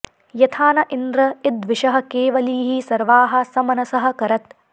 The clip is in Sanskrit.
यथा॑ न॒ इन्द्र॒ इद्विशः॒ केव॑लीः॒ सर्वाः॒ सम॑नसः॒ कर॑त्